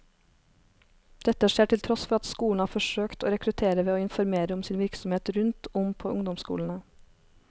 Dette skjer til tross for at skolen har forsøkt å rekruttere ved å informere om sin virksomhet rundt om på ungdomsskolene.